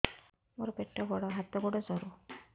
ମୋର ପେଟ ବଡ ହାତ ଗୋଡ ସରୁ